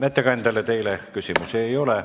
Ettekandjale rohkem küsimusi ei ole.